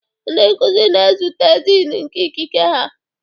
Ndị nkuzi na-ezute Dean nke ikike ha